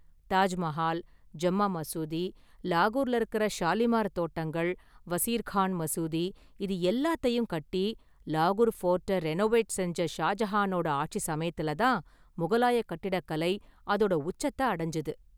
தாஜ்மகால், ஜம்மா மசூதி, லாகூர்ல இருக்குற ஷாலிமார் தோட்டங்கள், வசீர் கான் மசூதி இது எல்லாத்தையும் கட்டி, லாகூர் ஃபோர்ட்ட ரெனோவேட் செஞ்ச ஷாஜஹானோட ஆட்சி சமயத்துல தான் முகலாய கட்டிடக்கலை அதோட உச்சத்த அடைஞ்சது.